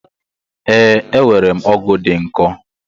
We, enwerem ọgụ dị nkọ